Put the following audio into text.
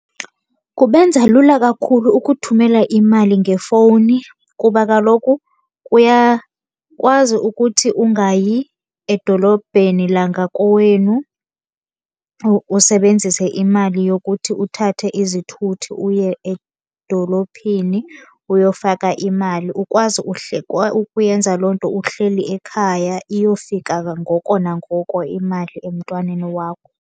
Kubenza lula kakhulu ukuthumela imali ngefowuni. Kuba kaloku uyakwazi ukuthi ungayi edolobheni langakowenu, usebenzise imali yokuthi uthathe izithuthi uye edolophini uyofaka imali. Ukwazi ukuyenza loo nto uhleli ekhaya iyofika ngoko nangoko imali emntwaneni wakho.